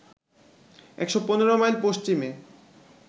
১১৫ mile পশ্চিমে